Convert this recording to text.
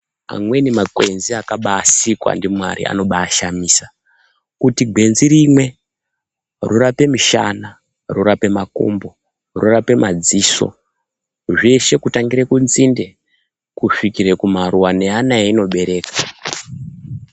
Amweni makwenzi akabai sikwa ndi Mwari anobai shamisa kuti gwenzi rimwe ro rape mishana ro rape makumbo rorape madziso zveshe kutangira ku nzinde kusvikire ku maruva ne ana ayino bereka.